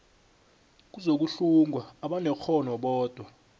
kuzokuhlungwa abanekghono bodwa